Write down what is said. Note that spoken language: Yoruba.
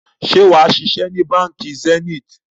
Ṣé wàá ṣiṣẹ́ ni Báńkì Zenith?